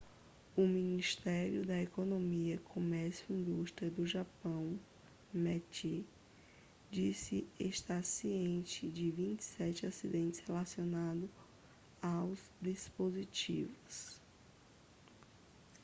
o ministério da economia comércio e indústria do japão meti disse estar ciente de 27 acidentes relacionados aos dispositivos